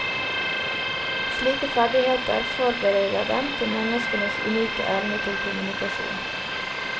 Slike ferdigheter forbereder dem til menneskenes unike evne til kommunikasjon.